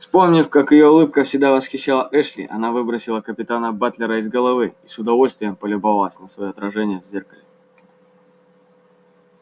вспомнив как её улыбка всегда восхищала эшли она выбросила капитана батлера из головы и с удовольствием полюбовалась на своё отражение в зеркале